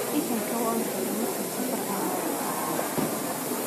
ii keen kabo aan xidho markaan safar aayan uu baxaya.